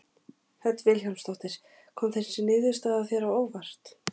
Hödd Vilhjálmsdóttir: Kom þessi niðurstaða þér á óvart?